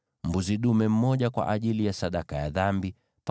mbuzi dume mmoja kwa ajili ya sadaka ya dhambi;